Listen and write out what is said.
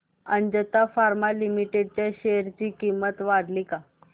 Ajanta Pharma Limited च्या share ची किंमत वाढली का